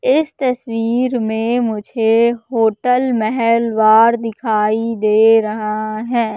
इस तस्वीर में मुझे होटल महलवार दिखाई दे रहा है।